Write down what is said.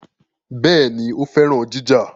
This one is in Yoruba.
Béèni, ó féràn ìjà